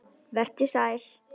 Vertu sæl.